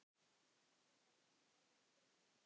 Hún var nýorðin þriggja ára.